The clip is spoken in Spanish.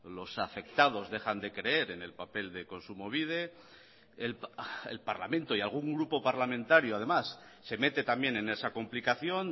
los afectados dejan de creer en el papel de kontsumobide el parlamento y algún grupo parlamentario además se mete también en esa complicación